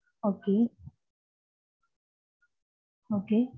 okay okay